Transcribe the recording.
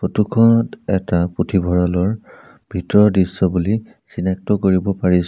Photo খনত এটা পুথভঁৰালৰ ভিতৰৰ দৃশ্য বুলি চিনাক্ত কৰিব পাৰিছোঁ।